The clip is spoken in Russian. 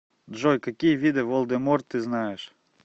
джой какие виды волдеморт ты знаешь